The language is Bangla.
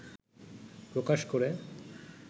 প্রকাশ করে